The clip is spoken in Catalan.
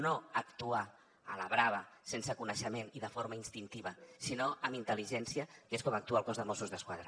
no actuar a la brava sense coneixement i de forma instintiva sinó amb intel·ligència que és com actua el cos de mossos d’esquadra